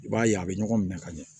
I b'a ye a bɛ ɲɔgɔn minɛ ka ɲɛ